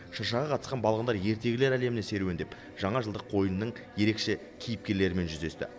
шыршаға қатысқан балғындар ертегілер әлеміне серуендеп жаңажылдық қойылымның ерекше кейіпкерлерімен жүздесті